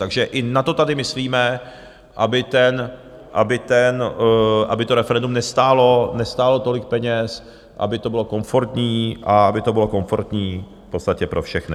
Takže i na to tady myslíme, aby to referendum nestálo tolik peněz, aby to bylo komfortní a aby to bylo komfortní v podstatě pro všechny.